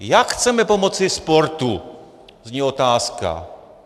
Jak chceme pomoci sportu? zní otázka.